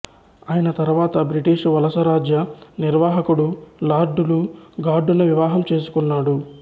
ఆయన తరువాత బ్రిటీషు వలసరాజ్య నిర్వాహకుడు లార్డు లుగార్డును వివాహం చేసుకున్నాడు